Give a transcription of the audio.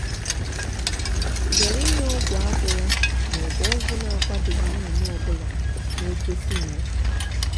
zere inye ọgwụ agwụla ma ọ bụ ọgwụ na-akwadoghị nnụnụ ọ bụla na-egosi nrịa.